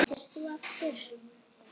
Hvað heitir þú aftur?